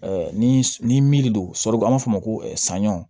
ni ni don an b'a fɔ ma ko sanɲɔ